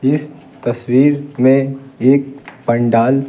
इस तस्वीर में एक पंडाल --